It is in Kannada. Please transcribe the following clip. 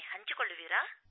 ಧನ್ಯವಾದ